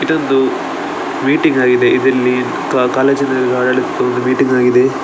ಇದೊಂದು ಮೀಟಿಂಗ್‌ ಆಗಿದೆ ಇದ್ರಲ್ಲಿ ಅಹ್ ಕಾಲೇಜ್‌ನ ಆಡಳಿತದವರ ಮೀಟಿಂಗ್‌ ಆಗಿದೆ .